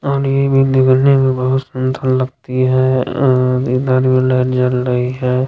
और ये भी देखने में बहुत सूंदर लगती है- इधर भी लाइट जल रही है।